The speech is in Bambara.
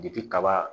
kaba